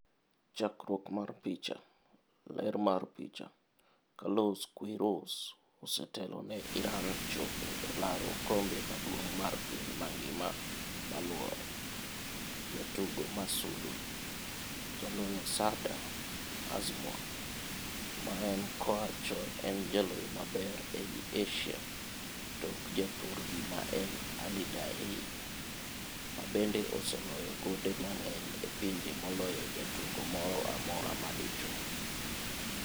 Chakruok mar picha, Getty Images. Ler mar picha, Carlos Queiroz, osetelo ne Iran chopo e laro okombe maduong' mar piny mangima maluore. Jatugo ma sulwe: Jaloyo Sardar Azmoun ma en koa chon en jaloyo maber ei Asia tok ja thurgi ma en Ali Daei, mabende oseloyo gonde mang'eny e pinje moloyo jatugo moro amorama dichuo.